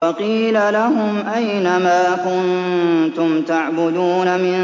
وَقِيلَ لَهُمْ أَيْنَ مَا كُنتُمْ تَعْبُدُونَ